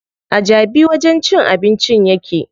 A Jabi wajen cin abincin yake.